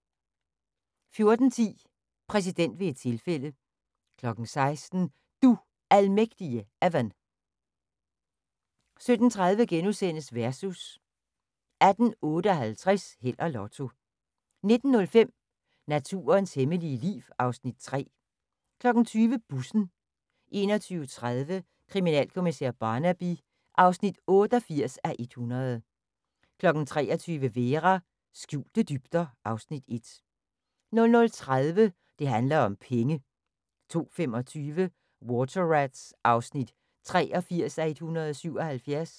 14:10: Præsident ved et tilfælde 16:00: Du Almægtige Evan 17:30: Versus * 18:58: Held og Lotto 19:05: Naturens hemmelige liv (Afs. 3) 20:00: Bussen 21:30: Kriminalkommissær Barnaby (88:100) 23:00: Vera: Skjulte dybder (Afs. 1) 00:30: Det handler om penge 02:25: Water Rats (83:177)